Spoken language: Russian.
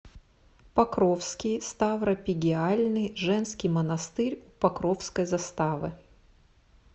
покровский ставропигиальный женский монастырь у покровской заставы